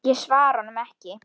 Ég svara honum ekki.